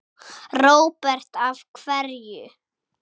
Róbert: Af hverju?